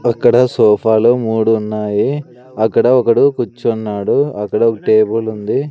అక్కడ సోఫా లు మూడు ఉన్నాయి అక్కడ ఒకడు కుచ్చున్నాడు అక్కడ ఒక టేబులుంది .